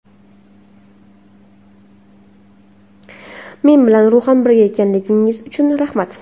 Men bilan ruhan birga ekanligingiz uchun rahmat.